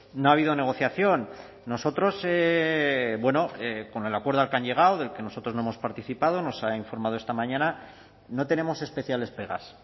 no ha habido negociación nosotros con el acuerdo al que han llegado del que nosotros no hemos participado nos ha informado esta mañana no tenemos especiales pegas